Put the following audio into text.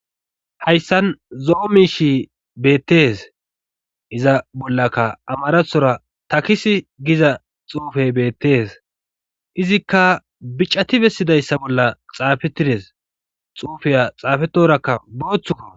Hayssan zo'o miishi beettes iza bollaka amarathora takis giza xuufey beettees izikka bicati bessidayssa bolla xaafetides xuufeya xaafetorakka booththuka.